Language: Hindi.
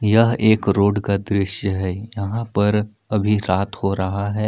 यह एक रोड का दृश्य है यहां पर अभी रात हो रहा है।